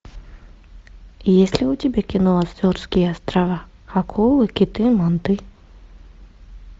есть ли у тебя кино азорские острова акулы киты манты